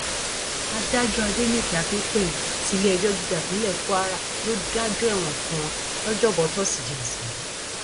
adájọ adẹnìke akínpẹlú tiléẹjọ gíga ìpínlẹ kwara ló dájọ ẹwọn fún wọn lọjọbọtòṣìdéé ọsẹ yìí